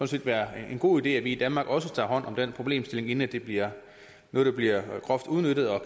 set være en god idé at vi i danmark også tager hånd om den problemstilling inden det bliver noget der bliver groft udnyttet og